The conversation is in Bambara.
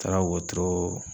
Taara wotoroo